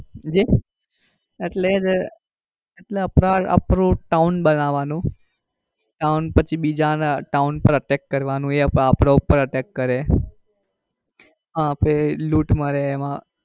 સમજ્યા એટલે અપડે આપણું town બનવાનું. town પછી બીજા ના town પર attack કરવાનું એ આપડા પર attack કરે આપડા લૂંટ મારે એમાં.